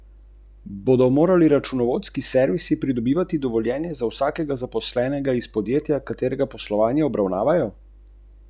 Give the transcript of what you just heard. Ali bo mogoče kaj iz preostalih oseminsedemdesetih ur našlo svoj prostor v Raju?